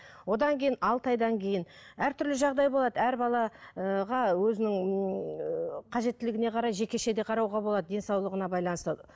одан кейін алты айдан кейін әртүрлі жағдай болады әр бала ы өзінің ыыы қажеттіліне қарай жекешеде қарауға болады денсаулығына байланысты